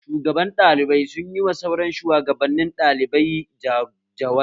Shugaban ɗalibai sun yi ma sauran shuwagabanin ɗalibai jawabi